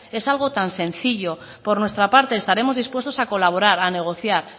es algo tan sencillo por nuestra parte estaremos dispuestos a colaborar a negociar